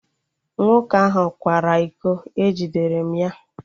Nwoke ahụ kwara iko, e jidere m ya